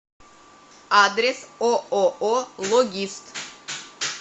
адрес ооо логист